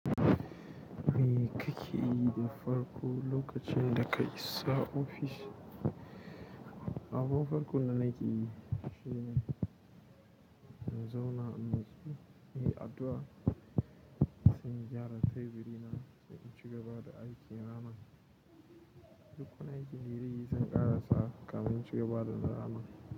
Me kake yi da farko lokacin daka isa ofis? Abun farko da nake yi shine in zauna inyi addu'a, sai in gyara teburi na, sai in cigaba da aikin rana. Dukkan aikin yi da zan ƙarasa kafin cigaba da rana.